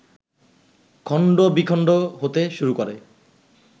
খন্ড বিখন্ড হতে শুরু করে